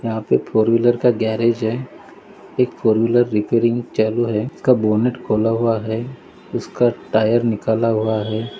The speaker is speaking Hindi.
यहा पे फोर व्हीलर का गैरेज है एक फोर व्हीलर रिपेरीग चालू है उसका बोनेट खोला हुआ है उसका टायर निकाला खुला हुआ है।